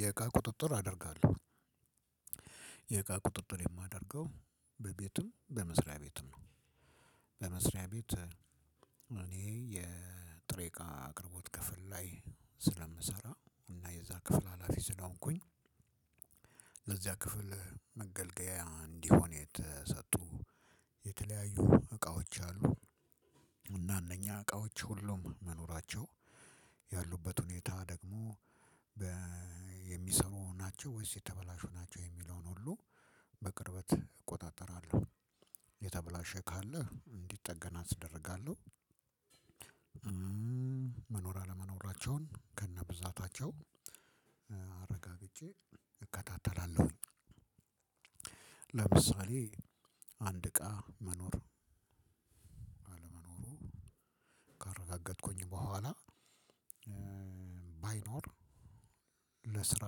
የእቃ ቁጥጥር አደርጋለሁ። የእቃ ቁጥጥር የማደርገው በቤትም በመስሪያ ቤትም ነው። በመስሪያ ቤት እኔ የጥሬቃ አቅርቦት ላይ ስለምሰራ እና የዛ ክፍል ሀላፊ ስለሆንኩኝ በዚህያ ክፍል መገልገያ እንዲወኑ የተሰጡ የተለያዩ እቃዎች አሉ። እና እነያ እቃዎች ሁሉም መኖራቸው። ያሉበት ውኔታ ደሞ የሚስብ ናቸው። ወይስ የተበላሹ ናቸው። የሚለውን ሁሉ በቅርበት እቆጣጠራለሁ። ካለ እንዲጠገን አደርጋለሁ። መኖር አለመኖራቸውን ከነብዛታቸው አረጋግጬ እከታተላለሁኝ። ለምሳሌ አንድ እቃ መኖር አለመኖሩ ካረጋገጥኩኝ በኋላ። ባይኖር ለስራ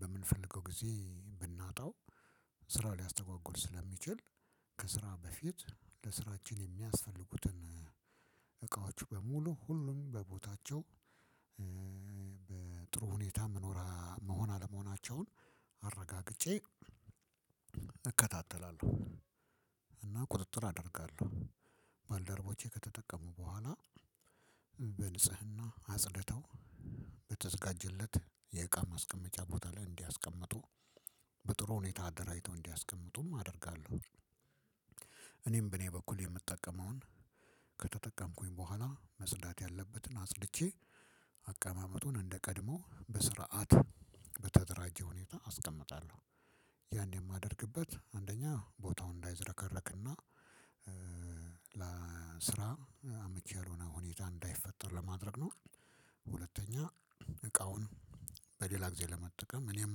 በምንፈልገው ጊዜ ብናጣው ስራ ሊያስተጓጉል ስለሚችል ከስራ በፊት ለስራችን የሚያስፈልጉትን እቃዎች በሙሉ ሁሉም በቦታቸው በጥሩ ሁኔታ መኖራ መሆን አለመሆናቸውን አረጋግጬ እከታተላለሁ። እና ቁጥጥር አደርጋለሁ። ባልደረቦቼ ከተጠቀሙ በኋላ በንጽህና አጽድተው በተዘጋጀለት የእቃ ማስቀመጫ ቦታ ላይ እንዲያስቀምጡ በጥሩ ሁኔታ አደራጅተው እንዲያስቀምጡም አደርጋለሁ። እኔም በኔ በኩል የምጠቀመውን ከተጠቀምኩኝ በኋላ መጽዳት ያለበትን አጽድቼ አቀማመጡን እንደቀድሞ በስርዓት በተደራጀ ሁኔታ አስቀምጣለሁ። ያን የማደርግበት አንደኛ ቦታውን እንዳይዘረከረክና ለስራ አመቺ ያልወነ ሁኔታ እንዳይፈጠር ለማድረግ ነው። ሁለተኛ እቃውን በሌላ ጊዜ ለመጠቀም እኔም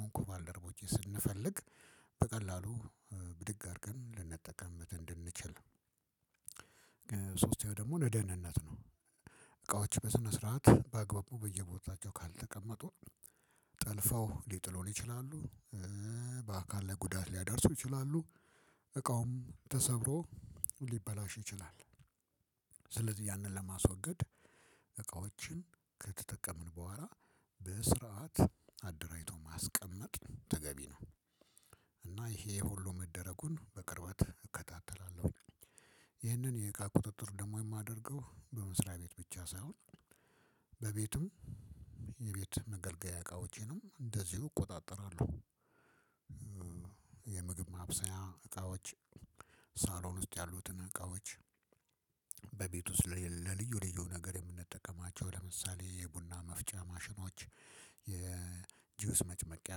ወንኩ ባልደረቦቼ ስንፈልግ በቀላሉ ብድግ አድርገን ልንጠቀምት እንድንችል። ሶስት ደግሞ ለደህንነት ነው። እቃዎች በስነ ስርዓት በአግባቡ በየቦታቸው ካልተቀመጡ ጠልፈው ሊጥሉን ይችላሉ። ለጉዳት ሊያደርሱ ይችላሉ። እቃውም ተሰብሮ ሊበላሹ ይችላሉ። ስለዚህ ያንን ለማስወገድ እቃዎችን ከተጠቀምን በኋላ በስርዓት አደራጅቶ ማስቀመጥ ተገቢ ነው። እና ይሄ ሁሉ መደረጉን በቅርበት እከታተላለሁ። ይህንን የእቃ ቁጥጥር ደግሞ የማደርገው በመስሪያ ቤት ብቻ ሳይሆን። በቤቱም የቤት መገልገያ እቃዎቼንም እንደዚሁ እቆጣጠራለሁ። የምግብ ማብሰያ እቃዎች፣ ሳሎን ውስጥ ያሉትን እቃዎች፣ በቤት ውስጥ ለልዩ ልዩ ነገር የምንጠቀማቸው ለምሳሌ የቡና መፍጫ ማሽኖች፣ የጁስ መጨመቂያ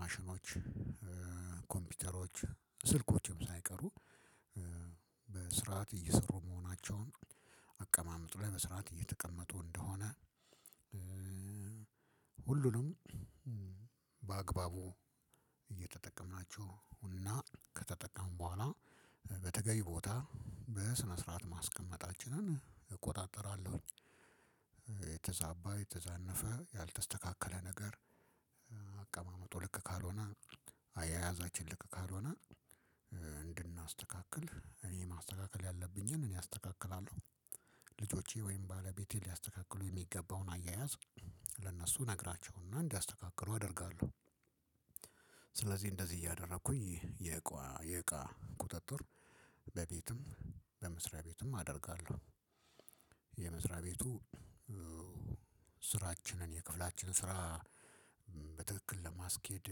ማሽኖች። ኮምፒውተሮች፣ ስልኮችም ሳይቀሩ በስርዓት እየሰሩ መሆናቸውን አቀማመጡ ላይ በስርዓት እየተቀመጡ እንደሆነ ሁሉንም በአግባቡ እየተጠቀምናችው እና ከተጠቀምን በዋላ በተገቢው ቦታ በስነስርዐት ማስቀመጣችንን እቆጣጠራለውኝ። የተዛባ፣ የተዛነፈ ያልተስተካከለ ነገር አቀማመጡ ልክ ካልሆነ አያያዛችን ልክ ካልሆነ እንድናስተካክል እኔ ማስተካከል ያለብኝን እኔ አስተካክላለሁ። ልጆቼ ወይም ባለቤቴ ሊያስተካክሉ የሚገባውን አያያዝ ለእነሱ ነግራቸውና እንዲያስተካክሩ አደርጋለሁ። ስለዚህ እንደዚህ እያደረኩኝ የእቃ የእቃ ቁጥጥር በቤትም በመስሪያ ቤትም አደርጋለሁ። የመስሪያ ቤቱ ስራችንን የክፍላችን ስራ በትክክል ለማስኬድ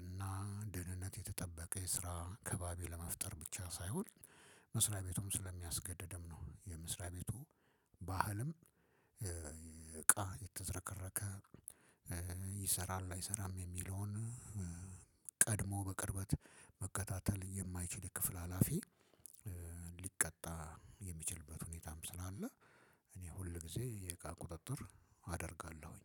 እና ደህንነት የተጠበቀ የስራ ከባቢ ለመፍጠር ብቻ ሳይሆን መስሪያ ቤቱም ስለሚያስገደድም ነው የመስሪያ ቤቱ ባህልም እቃ የተዘረከረከ ይሰራሉ አይሰራም የሚለውን ቀድሞ በቅርበት መከታተል የማይችል ክፍል ሀላፊ ሊቀጣ የሚችልበት ሁኔታም ስላለ እኔ ሁል ጊዜ የቃ ቁጥጥር አደርጋለሁኝ።